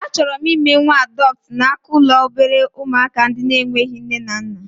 A chọrọ m ime nwa adọptu n'aka ụlọ obere ụmụaka ndị na-enweghị nne na nna